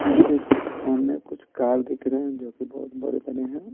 इसके सामने कुछ कार दिख रहे हैं जो कि बहुत बड़े-बड़े हैं।